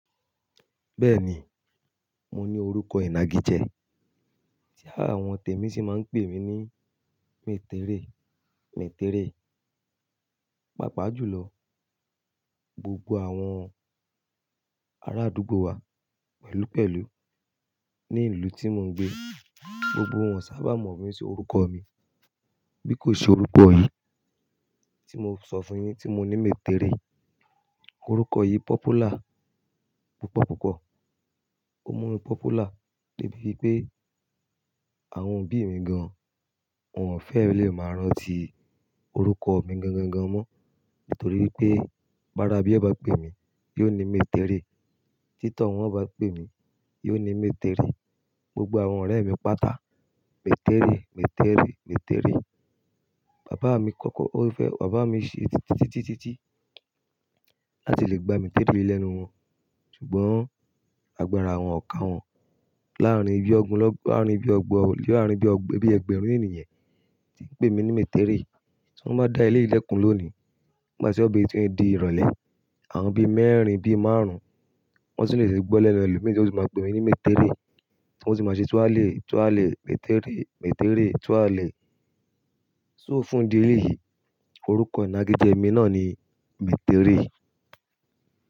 Bẹ́ẹ̀ni, mo ní orúkọ ìnagijẹ, tí àwọn tèmi sì máa ń pè mí ní Metere, Metere. Pápa jù lọ, gbogbo àwọn ará àdúgbò wa pẹ̀lúpẹ̀lú ní ìlú tí mò ń gbé, gbogbo wọn sábà mọ̀ mí sí orúkọ mi. Bí kò ṣe orúkọ yìí tí mo sọ fún yin tí mo ní Metere. Orúkọ yìí pọ́púlà púpọ̀púpọ̀. Ó mú mi pọ́púlà dé ibi pé àwọn òbí mi gan-an wọ́n ò fẹ́ lè máa rántí orúkọ mi gan-gan-gan mọ́. Nítorí pé pára bí ẹ bá pè mí, yóò ní Metere. Títọ́ wọ́n bá pè mí, yóò ní Metere. Gbogbo àwọn ọ̀rẹ́ mi pátá, Metere, Metere, Metere. Bàbá mi kọ́kọ́, ó fẹ́, bàbá mi ṣe títítí tí tí láti lè gba Metere yi lẹ́nu wọn. Ṣùgbọ́n agbára àwọn ọ̀ kà wọn láàárín bí ọ̀gbọ̀n, láàárín bí ọgbọ̀n, láàárín bí ọgb-- bí ẹgbẹ̀rún ènìyàn tí ń pè mí ní Metere. Tí wọ́n bá dá ilé ìlẹ̀kùn lónìí, bí wọ́n bá ṣe ọ̀bẹ tuntun di ìrọ̀lẹ́, àwọn bí mẹ́rin, bí márùn-ún, wọ́n sì lè gbọ́ lẹ́nu ẹlòmíràn tí wọ́n sì máa pè mí ní Metere. Tí wọ́n sì máa ṣe túálẹ̀, túálẹ̀, Metere, Metere, túálẹ̀. So fún idí. Eléyìí, orúkọ ìnagijẹ mi náà ni Metere.